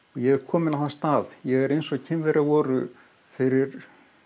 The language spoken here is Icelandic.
ég er kominn á þann stað ég er eins og Kínverjar voru fyrir